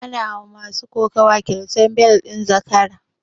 Ana ma masu kokuwa kyautan bel ɗin zakara